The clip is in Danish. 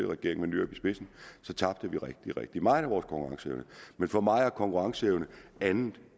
regering med nyrup i spidsen tabte vi rigtig rigtig meget af vores konkurrenceevne men for mig er konkurrenceevne andet